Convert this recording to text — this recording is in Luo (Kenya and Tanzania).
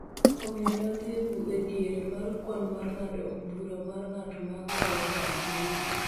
omiyo, ne odhi e diere mar kwan mar ng�ado bura mar ng'at ma kawo kar Ouru.